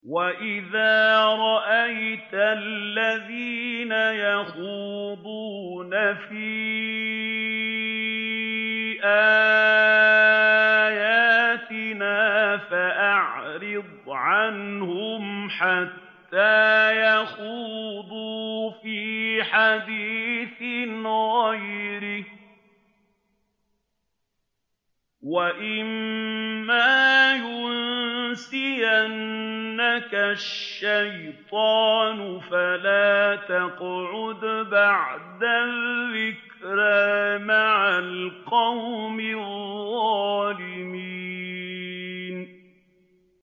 وَإِذَا رَأَيْتَ الَّذِينَ يَخُوضُونَ فِي آيَاتِنَا فَأَعْرِضْ عَنْهُمْ حَتَّىٰ يَخُوضُوا فِي حَدِيثٍ غَيْرِهِ ۚ وَإِمَّا يُنسِيَنَّكَ الشَّيْطَانُ فَلَا تَقْعُدْ بَعْدَ الذِّكْرَىٰ مَعَ الْقَوْمِ الظَّالِمِينَ